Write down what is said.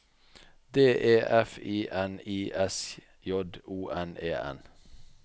D E F I N I S J O N E N